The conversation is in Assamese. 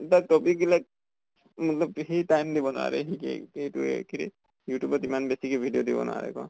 but topic বিলাক hindi সি time দিৱ নোৱাৰে । সি এইটো এ কি youtube ত ইমান কে video দিৱ নোৱাৰে, ন ?